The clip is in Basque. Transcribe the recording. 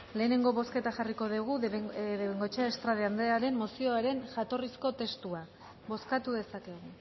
lehenengo bozketa jarriko dugu de bengoechea estrade andrearen mozioaren jatorrizko testua bozkatu dezakegu